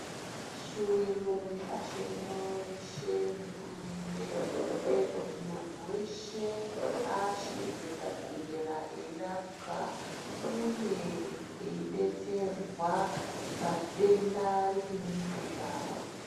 Shuwiro yepashi rino reshe nehurumende ngeyekuti muntu weshe aashirwe pachibhedhlera eirapwa uye eidetserwa padenda ripi neripi zvaro.